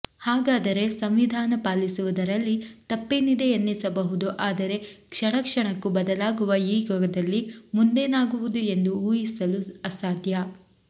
ಹಾಗದರೆ ಸಂವಿಧಾನ ಪಾಲಿಸುವುದರಲಿ ತಪ್ಪೇನಿದೆ ಎನ್ನಿಸಬಹುದು ಆದರೆ ಕ್ಷಣ ಕ್ಷಣಕ್ಕೂ ಬದಾಲಗುವ ಈ ಯುಗದಲ್ಲಿ ಮುಂದೇನಾಗುವುದು ಎಂದು ಊಹಿಸಲು ಅಸಾಧ್ಯ